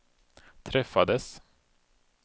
träffades